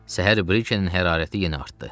Səhər Brikenin hərarəti yenə artdı.